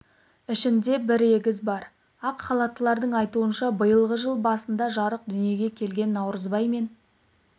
ішінде бір егіз бар ақ халаттылардың айтуынша биылғы жыл басында жарық дүниеге келген наурызбай мен